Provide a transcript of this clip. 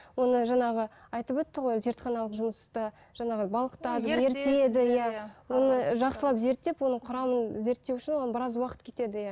оны жаңағы айтып өтті ғой зертханалық жұмыста жаңағы балқытады оны жақсылап зерттеп оның құрамын зерттеу үшін оны біраз уақыт кетеді иә